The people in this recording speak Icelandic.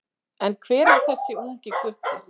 En hver er þessi ungi gutti?